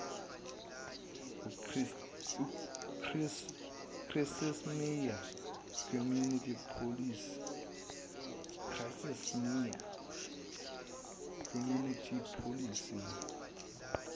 chrissiesmeer community policing